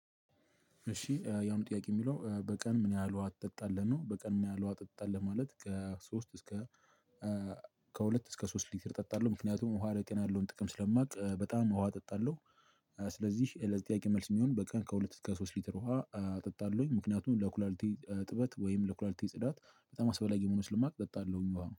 እሺ ያም ጥያቄ የሚለው በቀን ምን ያህል ውሃ ትጠጣለህ ነው በቀን ምን ያህል ውሃ ትጠጣለህ? ማለት ከሶስት እስከ ከሁለት እስከ ሶስት ሊትር ጠጣለሁ ምክንያቱም ውሃ ለጤና ያለውን ጥቅም ስለማውቅ በጣም ውሃ ጠጣለሁ። ስለዚህ ለዘጠያቂ መልስ የሚሆን በቀን ከሁለት ከሶስት ሊትር ውሃ ጠጣለሁኝ ምክንያቱም ለኩላልቴ እጥበት ወይም ለኩላልቲ ጽዳት በጣም አስፈላጊ መሆኑ ስልማቅ እጠጣለሁኝ ውሃ